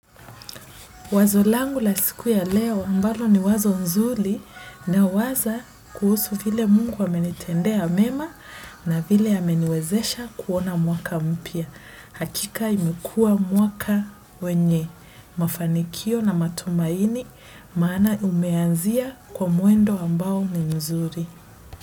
Wazo langu la siku ya leo ambalo ni wazo nzuli nawaza kuhusu vile Mungu amenitendea mema na vile ameniwezesha kuona mwaka mpya. Hakika imekua mwaka wenye mafanikio na matumaini maana umeanzia kwa mwendo ambao ni mzuri.